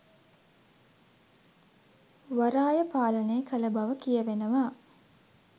වරාය පාලනය කල බව කියවෙනවා.